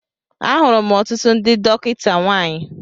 Ahụrụ m ọtụtụ ndị dọkịta nwanyị